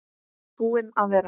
Búinn að vera.